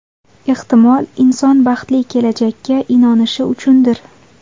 Ehtimol, inson baxtli kelajakka inonishi uchundir.